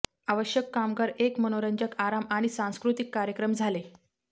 आवश्यक कामगार एक मनोरंजक आराम आणि सांस्कृतिक कार्यक्रम झाले